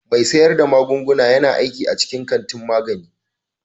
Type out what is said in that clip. Mai sayar da magunguna yana aiki a cikin kantin magani.